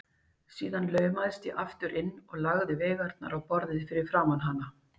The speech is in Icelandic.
Síðan laumaðist ég aftur inn og lagði veigarnar á borðið fyrir framan hana.